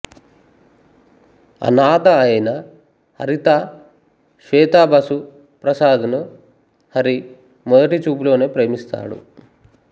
అనాథ అయిన హరిత శ్వేతా బసు ప్రసాద్ ను హరి మొదటి చూపులోనే ప్రేమిస్తాడు